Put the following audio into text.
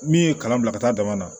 Min ye kalan bila ka taa dama na